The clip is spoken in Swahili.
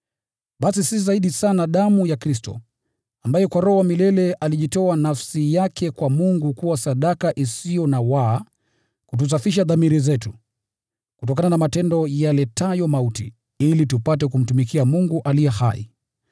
Basi ni zaidi aje damu ya Kristo, ambaye kwa Roho wa milele alijitoa nafsi yake kwa Mungu kuwa sadaka isiyo na waa, itatusafisha dhamiri zetu kutokana na matendo yaletayo mauti, ili tupate kumtumikia Mungu aliye hai!